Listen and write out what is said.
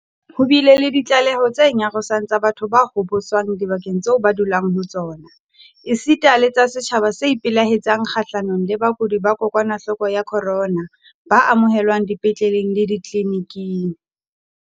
Ho bile le ditlaleho tse nyarosang tsa batho ba hoboswang dibakeng tseo ba dulang ho tsona, esita le tsa setjhaba se ipelaetsang kgahlanong le bakudi ba kokwanahloko ya corona ba amohelwang dipetleleng le ditleli-niking.